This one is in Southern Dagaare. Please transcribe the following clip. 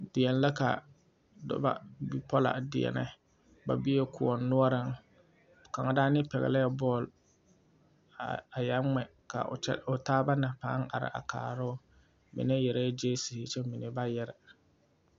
Deɛne la ka noba bipɔla a deɛnɛ ba bee koɔ noɔreŋ kaŋa daane pɛglɛ bɔle a a yeŋ ŋmɛ ka o taaba na a pãâ are a kaara o mine yɛrɛ gyeesiri kyɛ mine ba yɛre.